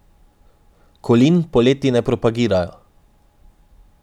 Kolin poleti ne propagirajo.